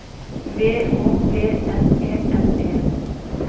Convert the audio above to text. V Å P N E N E